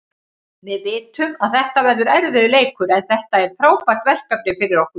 Við vitum að þetta verður erfiður leikur, en þetta er frábært verkefni fyrir okkur.